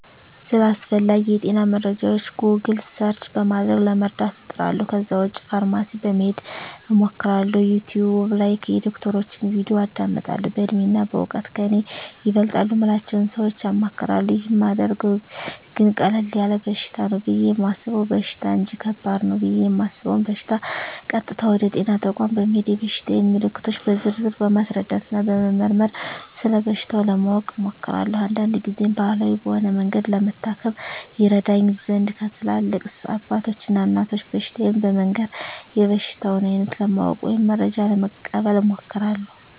ስለ አስፈላጌ የጤና መረጃወች "ጎግል" ሰርች" በማድረግ ለመረዳት እጥራለሁ ከዛ ውጭ ፋርማሲ በመሄድ አማክራለሁ፣ "ዩቲውብ" ላይ የዶክተሮችን "ቪዲዮ" አዳምጣለሁ፣ በእድሜና በእውቀት ከኔ ይበልጣሉ ምላቸውን ሰወች አማክራለሁ። ይህን ማደርገው ግን ቀለል ያለ በሽታ ነው ብየ የማሰበውን በሽታ እንጅ ከባድ ነው ብየ እማስበውን በሸታ ቀጥታ ወደ ጤና ተቋም በመሄድ የበሽታየን ምልክቶች በዝርዝር በማስረዳትና በመመርመር ስለበሽታው ለማወቅ እሞክራለሁ። አንዳንድ ግዜም ባህላዊ በሆነ መንገድ ለመታከም ይረዳኝ ዘንድ ለትላልቅ አባቶች እና እናቶች በሽታየን በመንገር የበሽታውን አይነት ለማወቅ ወይም መረጃ ለመቀበል እሞክራለሁ።